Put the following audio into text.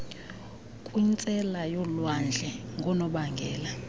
kwintsela yolwandle ngonobangela